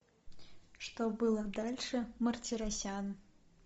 что было дальше мартиросян